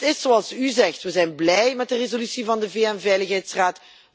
En het is zoals u zegt we zijn blij met de resolutie van de VN Veiligheidsraad.